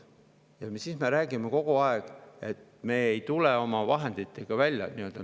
Ja siis me räägime kogu aeg, et meil ei tule vahenditest välja.